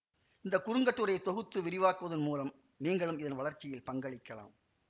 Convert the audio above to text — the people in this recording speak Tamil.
இந்த குறுங்கட்டுரையை தொகுத்து விரிவாக்குவதன் மூலம் நீங்களும் இதன் வளர்ச்சியில் பங்களிக்கலாம்